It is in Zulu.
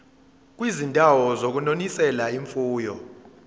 kwizindawo zokunonisela imfuyo